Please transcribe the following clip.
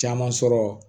Caman sɔrɔ